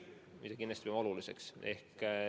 See on kindlasti oluline.